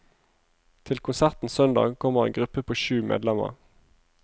Til konserten søndag kommer en gruppe på sju medlemmer.